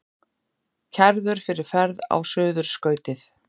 Kærður fyrir ferð á Suðurskautið